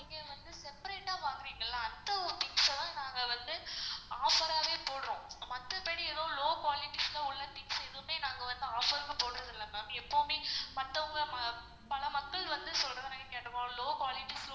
நீங்க வந்து separate ஆ வாங்குரிங்கள அந்த ஒரு things ச நாங்க வந்து offer ஆவே போட்றோம் மத்தபடி எதுவும் low quality ஒன்னும் things லாம் எதுவுமே வந்து நாங்க offer னு போடுறதில்ல ma'am. எப்பவுமே மத்தவங்கள பல மக்கள் வந்து சொல்ற மாரி low qualities